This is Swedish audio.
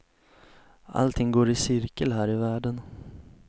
Allting går i cirkel här i världen.